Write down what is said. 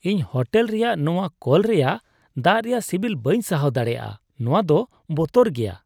ᱤᱧ ᱦᱳᱴᱮᱞ ᱨᱮᱭᱟᱜ ᱱᱚᱶᱟ ᱠᱚᱞ ᱨᱮᱭᱟᱜ ᱫᱟᱜ ᱨᱮᱭᱟᱜ ᱥᱤᱵᱤᱞ ᱵᱟᱹᱧ ᱥᱟᱦᱟᱣ ᱫᱟᱲᱮᱭᱟᱜᱼᱟ, ᱱᱚᱶᱟ ᱫᱚ ᱵᱚᱛᱚᱨ ᱜᱮᱭᱟ ᱾